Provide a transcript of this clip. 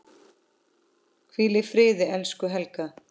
Hvíl í friði, elsku Helga.